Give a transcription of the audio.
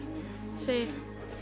segi